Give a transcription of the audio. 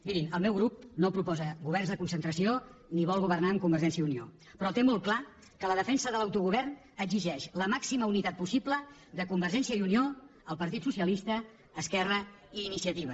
mirin el meu grup no proposa governs de concentració ni vol governar amb convergència i unió però té molt clar que la defensa de l’autogovern exigeix la màxima unitat possible de convergència i unió el partit socialista esquerra i iniciativa